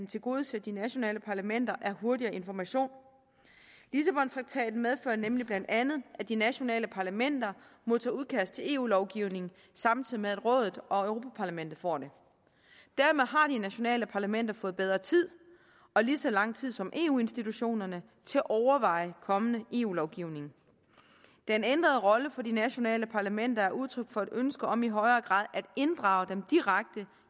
tilgodeser de nationale parlamenter er hurtigere information lissabontraktaten medfører nemlig bla at at de nationale parlamenter modtager udkast til eu lovgivning samtidig med at rådet og europa parlamentet får dem dermed har de nationale parlamenter fået bedre tid og lige så lang tid som eu institutionerne til at overveje kommende eu lovgivning den ændrede rolle for de nationale parlamenter er udtryk for et ønske om i højere grad at inddrage dem direkte